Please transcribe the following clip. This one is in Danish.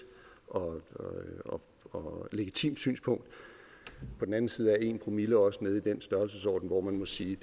og legitimt synspunkt på den anden side er en promille også nede i den størrelsesorden hvor man må sige